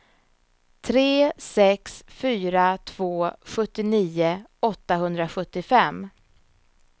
tre sex fyra två sjuttionio åttahundrasjuttiofem